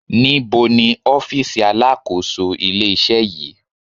Níbo ni ọ́fìsì alákòóso ilé-iṣẹ́ yìí